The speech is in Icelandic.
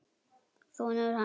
Sonur hans!